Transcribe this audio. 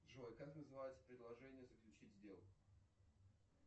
джой как называется предложение заключить сделку